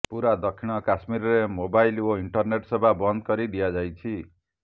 ପୁରା ଦକ୍ଷିଣ କାଶ୍ମୀରରେ ମୋବାଇଲ ଓ ଇଣ୍ଟରନେଟ୍ ସେବା ବନ୍ଦ କରି ଦିଆଯାଇଛି